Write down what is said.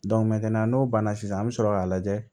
n'o banna sisan an bɛ sɔrɔ k'a lajɛ